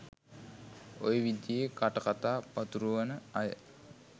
ඔය විදියේ කටකතා පතුරුවන අය